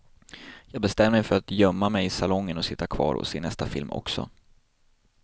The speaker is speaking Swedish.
Jag bestämde mig för att gömma mig i salongen och sitta kvar och se nästa film också.